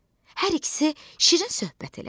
Hər ikisi şirin söhbət elədi.